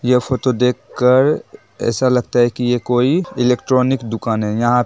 यह फोटो देख कर ऐसा लगता है की यह कोई इलेक्ट्रॉनिक दुकान है यहाँ--